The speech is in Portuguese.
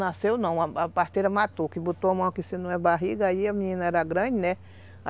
Nasceu não, a a parteira matou, que botou a mão aqui, se não é barriga, aí a menina era grande, né?